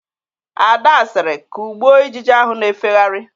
Ada sịrị, "kụgbụo ijiji ahụ na-efegharị"!